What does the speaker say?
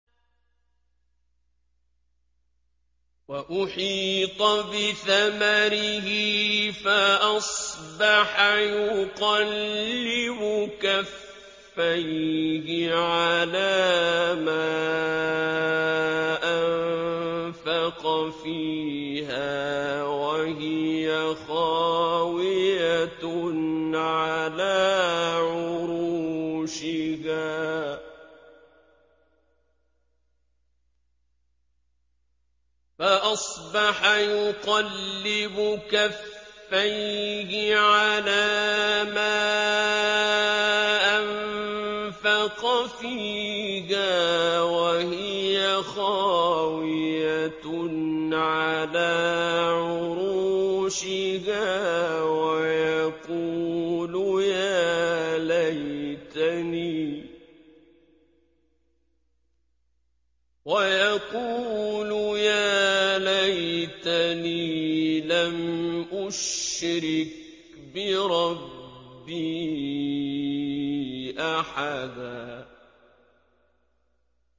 وَأُحِيطَ بِثَمَرِهِ فَأَصْبَحَ يُقَلِّبُ كَفَّيْهِ عَلَىٰ مَا أَنفَقَ فِيهَا وَهِيَ خَاوِيَةٌ عَلَىٰ عُرُوشِهَا وَيَقُولُ يَا لَيْتَنِي لَمْ أُشْرِكْ بِرَبِّي أَحَدًا